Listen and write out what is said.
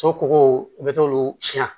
So kɔgɔw i bɛ t'olu siɲɛ